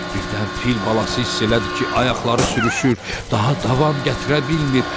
Birdən fil balası hiss elədi ki, ayaqları sürüşür, daha davam gətirə bilmir.